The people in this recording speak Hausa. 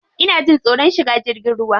Ina jin tsoron shiga jirgin ruwa.